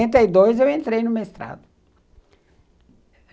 Em setenta e dois eu entrei no mestrado.